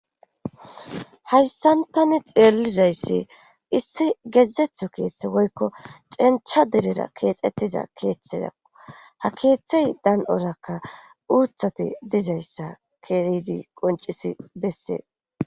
Hayssantani xeelizayssi issi gezetho keeththe woykko cencha derera keexettiza keeththezakko ha keeththey dan7orakka uuthati dizayssa keidi qoncisi bessees